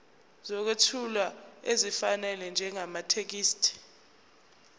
sokwethula esifanele njengamathekisthi